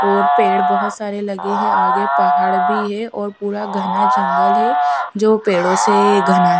और पेड़ बहुत सारे लगे हैं आगे पहाड़ भी है है और पूरा घना जंगल है जो पेड़ों से घना है--